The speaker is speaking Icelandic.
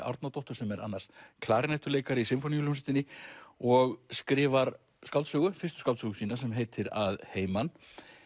Árnadóttur sem er annars klarinettuleikari í Sinfóníuhljómsveitinni og skrifar skáldsögu fyrstu skáldsögu sína sem heitir að heiman